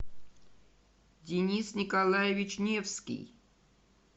денис николаевич невский